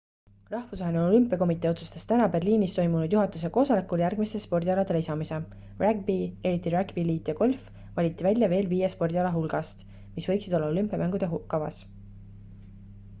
rahvusvaheline olümpiakomitee otsustas täna berliinis toimunud juhatuse koosolekul järgmiste spordialade lisamise ragbi eriti ragbi liit ja golf valiti välja veel viie spordiala hulgast mis võiksid olla olümpiamängude kavas